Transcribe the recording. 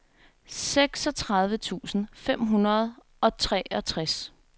seksogtredive tusind fem hundrede og treogtres